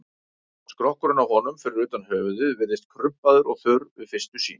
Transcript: Skrokkurinn á honum, fyrir utan höfuðið, virðist krumpaður og þurr við fyrstu sýn.